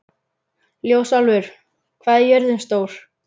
Ljósálfur, hvað er jörðin stór?